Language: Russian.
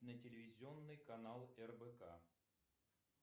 на телевизионный канал рбк